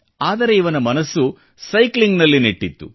ಆದರೆ ಇವನ ಮನಸ್ಸು ಸೈಕ್ಲಿಂಗ್ನಲ್ಲಿ ನೆಟ್ಟಿತ್ತು